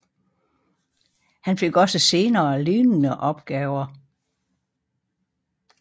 Han fik også senere lignende opgaver